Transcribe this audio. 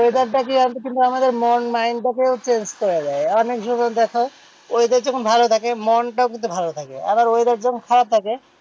weather টা কিন্তু আমাদের মন mind টাকেও change করে দেয়। অনেক জীবন দেখো weather যখন ভালো থাকে মনটাও কিন্তু ভালো থাকে, আবার weather যখন খারাপ থাকে,